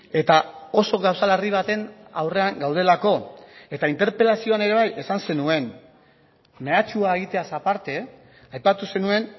eta oso gauza larri baten aurrean gaudelako eta interpelazioan ere esan zenuen mehatxua egiteaz aparte aipatu zenuen